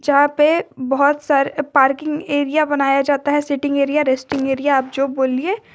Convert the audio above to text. यहां पे बहुत सारे पार्किंग एरिया बनाया जाता है सिटिंग एरिया रेस्टिंग एरिया आप जो बोलिए।